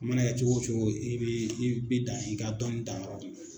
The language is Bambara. A mana kɛ cogo wo cogo i bi i bi dan i ka dɔnɔni danyɔrɔ